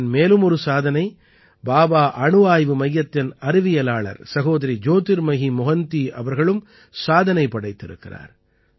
தேசத்தின் மேலும் ஒரு சாதனை பாபா அணு ஆய்வு மையத்தின் அறிவியலாளர் சகோதரி ஜோதிர்மயி மொஹந்தி அவர்களும் சாதனை படைத்திருக்கிறார்